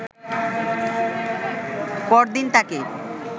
পরদিন তাকে